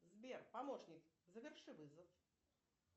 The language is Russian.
сбер помощник заверши вызов